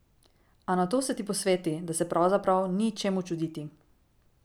A nato se ti posveti, da se pravzaprav ni čemu čuditi.